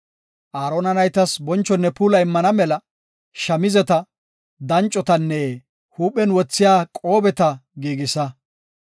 Aarona naytas bonchonne puula immana mela shamizeta, dancotanne huuphen wothiya qoobeta giigisa.